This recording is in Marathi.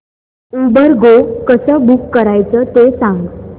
उबर गो कसं बुक करायचं ते सांग